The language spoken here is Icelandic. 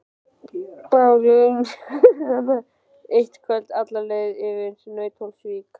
Báru hana eitt kvöld alla leið yfir í Nauthólsvík.